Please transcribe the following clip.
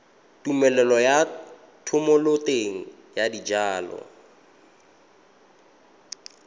tumelelo ya thomeloteng ya dijalo